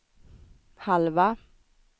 halva